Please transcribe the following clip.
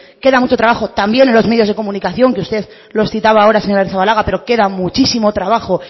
que queda mucho trabajo también los medios de comunicación que usted los citaba ahora señora arrizabalaga pero queda muchísimo trabajo